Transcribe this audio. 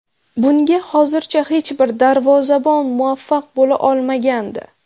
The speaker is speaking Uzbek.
Bunga hozircha hech bir darvozabon muvaffaq bo‘la olmagandi.